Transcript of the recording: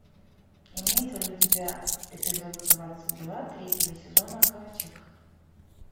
имеется ли у тебя эпизод двадцать два третьего сезона ковчег